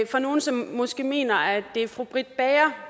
fra nogle som måske mener at det er fru britt bager